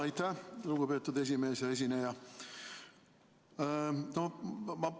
Aitäh, lugupeetud esimees ja esineja!